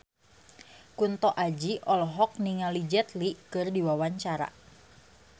Kunto Aji olohok ningali Jet Li keur diwawancara